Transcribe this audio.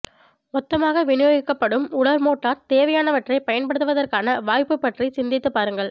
மொத்தமாக விநியோகிக்கப்படும் உலர் மோர்டர் தேவையானவற்றைப் பயன்படுத்துவதற்கான வாய்ப்பு பற்றி சிந்தித்துப் பாருங்கள்